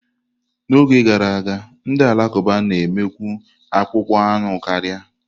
N'oge gara aga, ndị Alakụba na-emekwu akpụkpọ anụ karia.